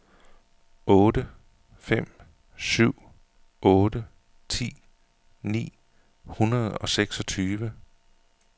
otte fem syv otte ti ni hundrede og seksogtyve